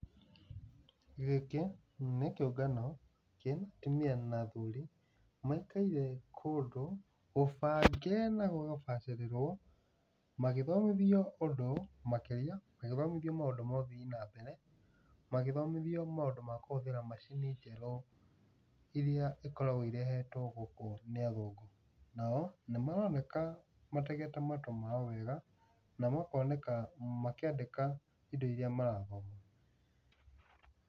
Gĩkĩ nĩ kĩungano gĩa atũmia na athũri, maikaire kũndũ gũbange na gĩgabacĩrĩrwo magĩthomithio ũndũ makĩria , magĩthomithio maũndũ ma ĩthii nambere, magĩthomithio maũndũ ma kũhũthĩra macini njerũ, irĩa ikoragwo irehetwo gũkũ nĩ athũngũ. Nao nĩmaroneka mategete matũ mao wega, na makoneka makĩandĩka indo irĩa marathoma.